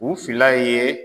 U fila ye